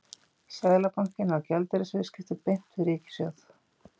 Seðlabankinn á gjaldeyrisviðskipti beint við ríkissjóð.